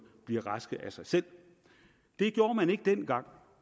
bliver raske af sig selv det gjorde man ikke dengang